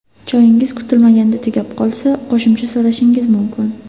Choyingiz kutilmaganda tugab qolsa, qo‘shimcha so‘rashingiz mumkin.